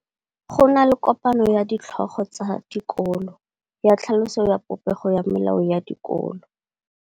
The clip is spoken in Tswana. Go na le kopanô ya ditlhogo tsa dikolo ya tlhaloso ya popêgô ya melao ya dikolo.